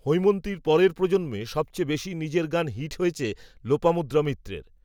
হৈমন্তীর পরের প্রজন্মে, সবচেয়ে বেশি নিজের গান হিট হয়েছে, লোপামুদ্রা মিত্রের